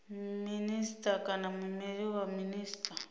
minisita kana muimeleli wa minisita